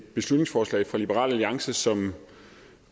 beslutningsforslag fra liberal alliance som